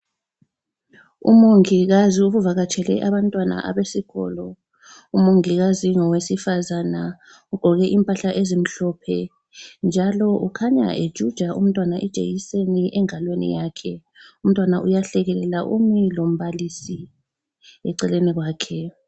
Umongikazi uvakatshele abantwana abesikolo. Umongikazi ngowesifazana, ugqoke impahla ezimhlophe njalo ukhanya ejuja umntwana ijekiseni engalweni yakhe, umntwana uyahlekelela umi lombalisi eceleni kwakhe.